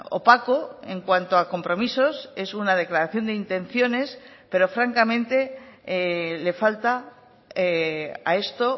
opaco en cuanto a compromisos es una declaración de intenciones pero francamente le falta a esto